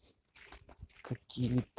какие